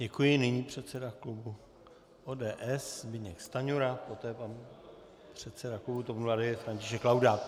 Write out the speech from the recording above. Děkuji, nyní předseda klubu ODS Zbyněk Stanjura, poté pan předseda klubu TOP 09 František Laudát.